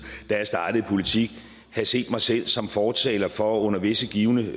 da jeg startede i politik have set mig selv som fortaler for under visse givne